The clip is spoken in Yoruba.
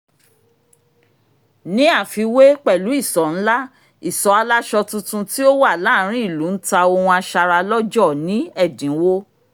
ní àfiwé pẹ̀lú ìsọ̀ ńlá ìsọ̀ aláṣọ tuntun tí ó wà láàárín ìlú ń ta ohun aṣaralọ́jọ̀ ní ẹ̀dínwó